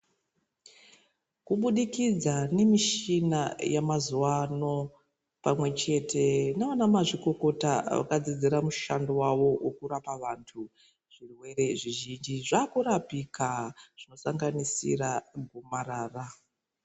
Kubudikidza nemishina yemazuwa ano pamwechete nana mazvikokota vakadzidzira mushando wavo wekurapa vantu zvirwere zvizhinji zvakurapika zvinosanganisira gomarara.